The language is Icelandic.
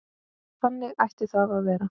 Þannig ætti það að vera.